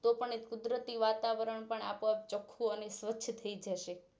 તો પણ એ કુદરતી વાતાવરણપણ આપો આપ ચોખ્ખું અને સ્વચ્છ થઈ જશે